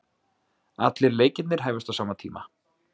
Allir leikirnir hefjast á sama tíma